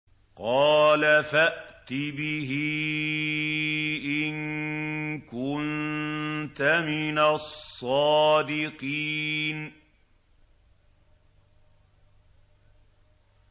قَالَ فَأْتِ بِهِ إِن كُنتَ مِنَ الصَّادِقِينَ